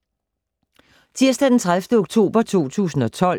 Tirsdag d. 30. oktober 2012